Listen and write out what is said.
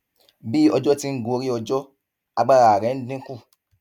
bí ọjọ ti ń gorí ọjọ agbára rẹ ń dín kù